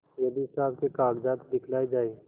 यदि हिसाब के कागजात दिखलाये जाएँ